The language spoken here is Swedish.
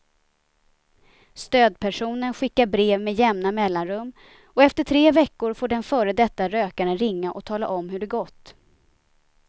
Stödpersonen skickar brev med jämna mellanrum och efter tre veckor får den före detta rökaren ringa och tala om hur det gått.